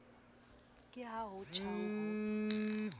ke ha ho tjhang ho